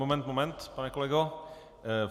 Moment, moment, pane kolego.